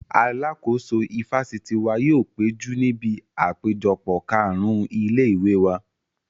Alàkóso ifásitì wa yóò péjú níbi àpéjọpọ̀ kàrún ilé-ìwé wa